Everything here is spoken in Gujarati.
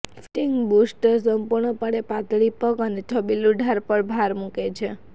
ફિટિંગ બૂસ્ટ્સ સંપૂર્ણપણે પાતળી પગ અને છબીલું ઢાળ પર ભાર મૂકે છે